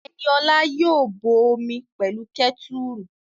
Ẹniola yóò bọ omi pẹ̀lú kẹ́tùrù